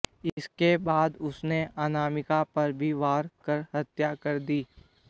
इसके बाद उसने अनामिका पर भी वार कर हत्या कर दी